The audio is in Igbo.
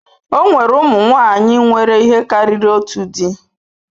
O nwere ụmụ nwanyị nwere ihe karịrị otu di.